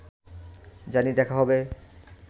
জানি দেখা হবে